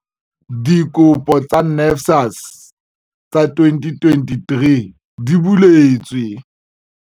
Dikopo tsa NSFAS tsa 2023 di buletswe.